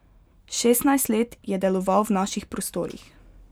Šestnajst let je deloval v naših prostorih.